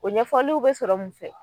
O ɲɛfɔliw be sɔrɔ mun fɛ